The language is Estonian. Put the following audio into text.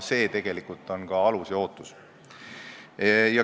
See on tegelikult ka alus ja ootus.